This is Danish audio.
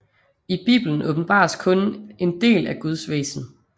I Bibelen åbenbares kun en del af Guds væsen